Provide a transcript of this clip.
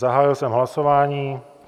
Zahájil jsem hlasování.